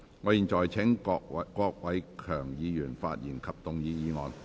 我現在請郭偉强議員就議案發言。